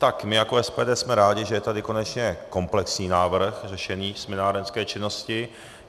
Tak, my jako SPD jsme rádi, že je tady konečně komplexní návrh řešení směnárenské činnosti.